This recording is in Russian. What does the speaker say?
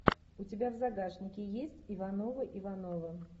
у тебя в загашнике есть ивановы ивановы